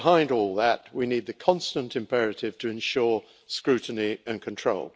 Behind all that, we need the constant imperative to ensure scrutiny and control.